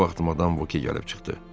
Bu vaxt Madam Voke gəlib çıxdı.